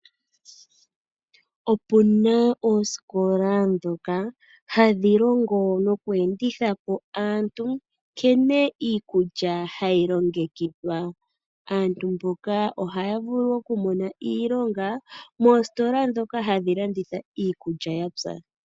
Opuna oosikola ndhoka hadhi longo noku endithapo aantu nkene iikulya hayi longekidhwa. Aantu mboka ohaya vulu oku mona iilonga moositola ndhoka hadhi landitha iikulya yapya.